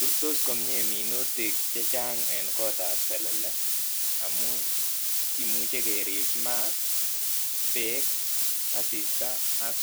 Rurtos komye minutik chechang eng kot ab selele amuu maat nemi orit akoribei kora koristi ak